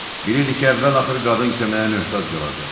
Bilirdi ki, əvvəl-axır qadın köməyə möhtac qalacaq.